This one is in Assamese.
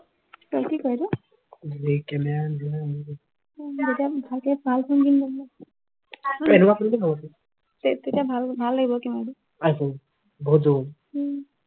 তই কি কৰিলি এনেকুৱা phone টো ভাল হব ভাল ভাল লাগিব উম